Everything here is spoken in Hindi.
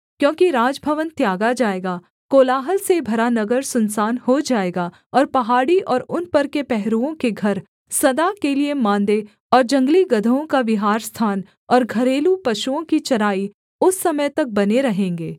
क्योंकि राजभवन त्यागा जाएगा कोलाहल से भरा नगर सुनसान हो जाएगा और पहाड़ी और उन पर के पहरुओं के घर सदा के लिये माँदे और जंगली गदहों का विहारस्थान और घरेलू पशुओं की चराई उस समय तक बने रहेंगे